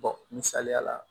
misaliya la